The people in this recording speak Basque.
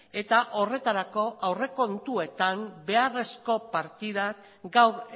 eta horretarako aurrekontuetan beharrezko partidak gaur